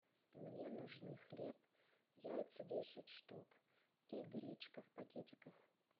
мне нужны хлеб яйца десять штук и гречка в пакетиках